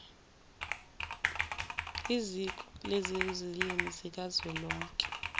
iziko lezilimi zikazwelonke